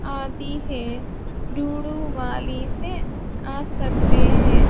आती है डूडू वाली से आ सकते हैं।